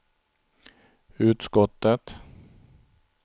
utskottet